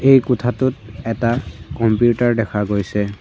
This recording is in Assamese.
এই কোঠাটোত এটা কম্পিউটাৰ দেখা গৈছে।